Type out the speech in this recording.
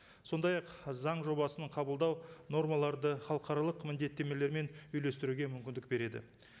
сондай ақ заң жобасын қабылдау нормаларды халықаралық міндеттемелермен үйлестіруге мүмкіндік береді